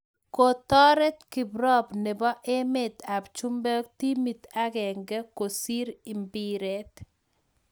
Kotoret kiprop nebo emet ab chumbek timit agenge kusir mbiret